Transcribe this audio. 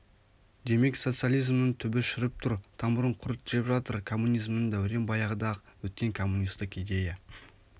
демек социализмнң түбі шіріп тұр тамырын құрт жеп жатыр коммунизмнің дәурен баяғыда-ақ өткен коммунистік идея